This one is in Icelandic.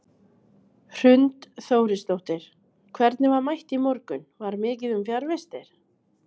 Hrund Þórisdóttir: Hvernig var mætt í morgun, var mikið um fjarvistir?